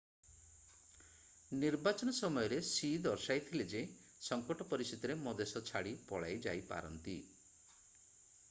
ନିର୍ବାଚନ ସମୟରେ ସି ଦର୍ଶାଇଥିଲେ ଯେ ସଙ୍କଟ ପରିସ୍ଥିତିରେ ମା ଦେଶ ଛାଡି ପଳାଇ ଯାଇପାରନ୍ତି